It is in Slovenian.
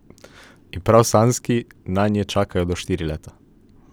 In prav samski nanje čakajo do štiri leta.